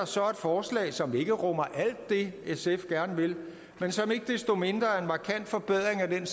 så et forslag som ikke rummer alt det sf gerne vil men som ikke desto mindre er en markant forbedring af den